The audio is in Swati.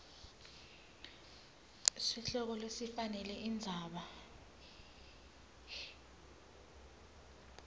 sihloko lesifanele indzaba